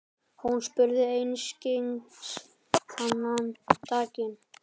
Hún spurði einskis þennan daginn.